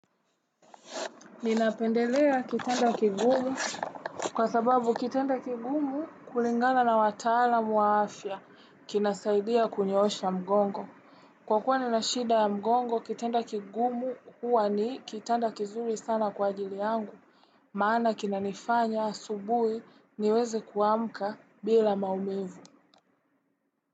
Ninapendelea kitanda kigumu kwa sababu kitanda kigumu kulingana na wataalamu wa afya kinasaidia kunyoosha mgongo. Kwa kuwa nina shida ya mgongo kitanda kigumu huwa ni kitanda kizuri sana kwa ajili yangu. Maana kinanifanya asubuhi niweze kuamka bila maumivu.